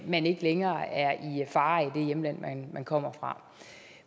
man ikke længere er i fare i det hjemland man kommer fra